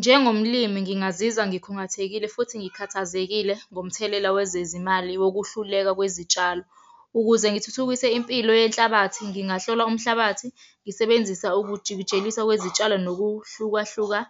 Njengomlimi, ngingazizwa ngikhungathekile, futhi ngikhathazekile ngomthelela wezezimali wokuhluleka kwezitshalo. Ukuze ngithuthukise impilo yenhlabathi, ngingahlola umhlabathi ngisebenzisa ukujikijeliswa kwezitshalo, nokuhlukahluka.